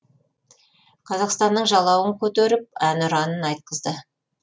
қазақстанның жалауын көтеріп әнұранын айтқызды